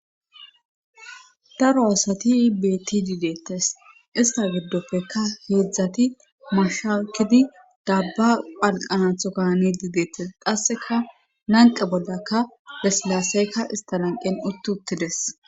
daro asati betidideettes ista giddoppekka heedzdzati mashakidi dabba phalqanatho kani dideettes qasseka nanqe boldakka besilaseykka ista nanqen utt uttides